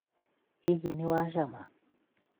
hihi nĩwacama?